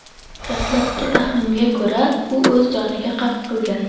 Dastlabki taxminga ko‘ra, u o‘z joniga qasd qilgan.